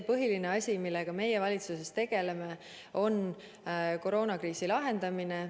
Põhiline asi, millega me valitsuses tegeleme, on koroonakriisi lahendamine.